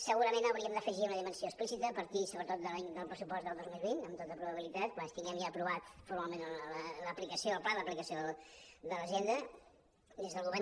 segurament hauríem d’afegir una dimensió explícita a partir sobretot del pressupost del dos mil vint amb tota probabilitat quan tinguem ja aprovat formalment el pla d’aplicació de l’agenda des del govern